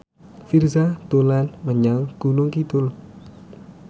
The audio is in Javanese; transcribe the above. Virzha dolan menyang Gunung Kidul